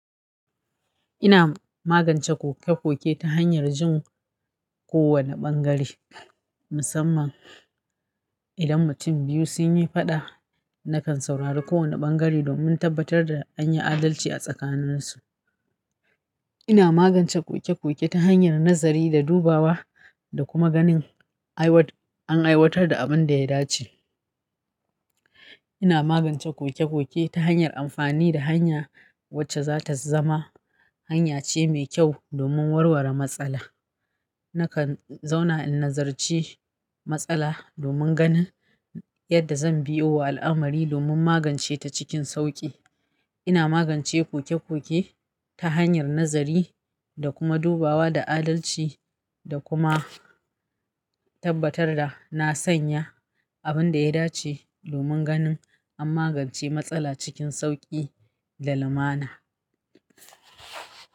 Ina magance koke-koke ta hanyar jin kowane ɓangare musamman idan mutum biyu sun yi faɗa. Nakan saurari kowane ɓangare domin tabbatar da an yi adalci a tsakaninsu. Ina magance koke-koke ta hanyar nazari da dubawa da kuma ganin aiwar, an aiwatar da abin da ya dace. Ina magance koke-koke ta hanyar amfani da hanya wacce za ta zama hanya ce mai kyau domin warware matsala. Nakan zauna in nazarce matsala domin ganin yadda zan biyo wa al'amari domin magance ta cikin sauƙi. Ina magance koke-koke ta hanyar nazari da kuma dubawa da adalci da kuma tabbatar da na sanya abin da ya dace domin ganin an magance matsala cikin sauƙi da lumana.